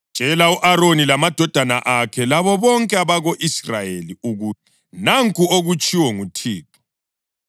“Tshela u-Aroni lamadodana akhe, labo bonke abako-Israyeli ukuthi: ‘Nanku okutshiwo nguThixo: